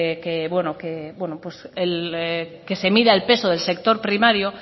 que se mida el peso del sector primario